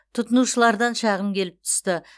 тұтынушылардан шағым келіп түсті